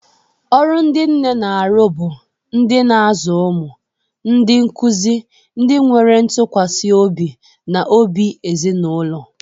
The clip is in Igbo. Ọrụ ndị nne na-arụ bụ ndị na-azụ ụmụ, ndị nkuzi, ndị nwere ntụkwasị obi, na obi ezinụlọ.